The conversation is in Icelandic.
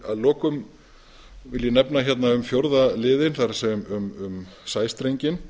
að lokum vil ég nefna hérna um fjórða liðinn það er um sæstrenginn